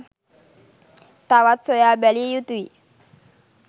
තවත් සොයා බැලිය යුතුය